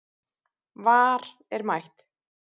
VAR er mætt